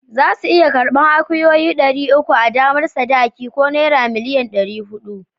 Za su iya karban akuyoyi dari uku a damar sadaki ko naira million ɗari huɗu